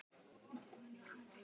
Hefur hann einhverntímann svitnað?